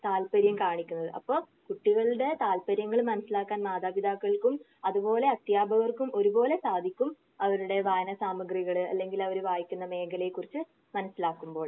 താൽപ്പര്യം കാണിക്കുന്നത്. അപ്പൊ കുട്ടികളുടെ താൽപ്പര്യങ്ങൾ മനസ്സിലാക്കാൻ മാതാപിതാക്കൾക്കും അത് പോലെ അധ്യാപകർക്കും ഒരുപോലെ സാധിക്കും. അവരുടെ വായന സാമഗ്രികൾ അല്ലെങ്കിൽ അവര് വായിക്കുന്ന മേഖലയെ കുറിച്ച് മനസ്സിലാക്കുമ്പോഴും